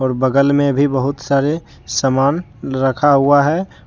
बगल में भी बहुत सारे समान रखा हुआ है।